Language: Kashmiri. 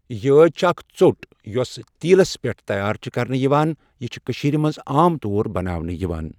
یٲج چھےٚ اَکھ ژۆٹ یۄس تیٖلس پؠٹھ تیار چھےٚ کرنہٕ یِوان، یہِ چھِ کٔشیٖر منٛز عام طور بَناونہٕ یِوان.